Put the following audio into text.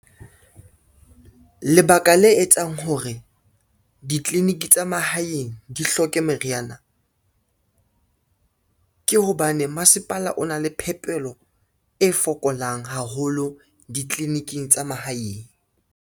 Lebaka le etsang hore ditliliniki tsa mahaeng di hloke meriana, ke hobane masepala o na le phepelo e fokolang haholo ditleliniking tsa mahaeng.